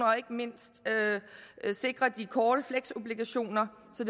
og ikke mindst sikrer de korte flexobligationer så